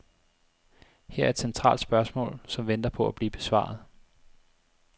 Her er et centralt spørgsmål, som venter på at blive besvaret.